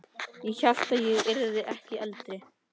Ég hélt ég yrði ekki eldri.